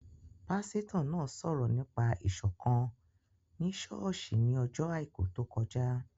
Pásítọ̀ náà sọ̀rọ̀ nípa Ìṣọ̀kán ni ṣọ́ọ̀ṣì ní ọjọ́ àìkú tó kọjá